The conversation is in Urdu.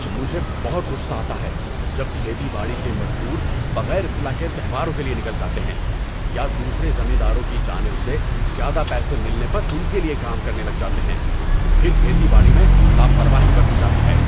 مجھے بہت غصہ آتا ہے جب کھیتی باڑی کے مزدور بغیر اطلاع کے تہواروں کے لیے نکل جاتے ہیں یا دوسرے زمینداروں کی جانب سے زیادہ پیسے ملنے پر ان کے لیے کام کرنے لگ جاتے ہیں۔ پھر کھیتی باڑی میں لاپرواہی برتی جاتی ہے۔